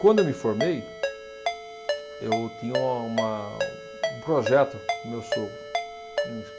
Quando eu me formei, eu tinha uma, um projeto com o meu sogro.